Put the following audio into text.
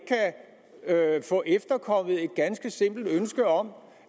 kan få efterkommet et ganske simpelt ønske om